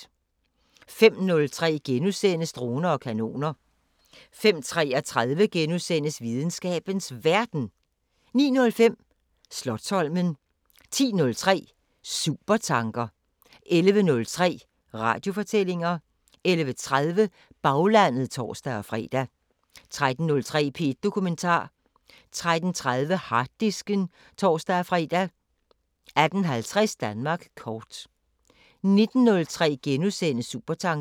05:03: Droner og kanoner * 05:33: Videnskabens Verden * 09:05: Slotsholmen 10:03: Supertanker 11:03: Radiofortællinger 11:30: Baglandet (tor-fre) 13:03: P1 Dokumentar 13:30: Harddisken (tor-fre) 18:50: Danmark kort 19:03: Supertanker *